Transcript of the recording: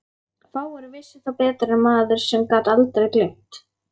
Fáir vissu það betur en maður sem gat aldrei gleymt.